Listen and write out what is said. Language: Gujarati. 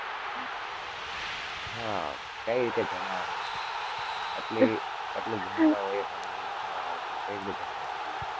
હા, કઈ રીતે જણાવવામાં આવે છે? એટલી, એટલું ભણતા હોય એ પણ એ રીતના, કઈ રીતે જણાઈ શકીએ!